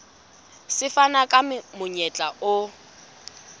se fana ka monyetla o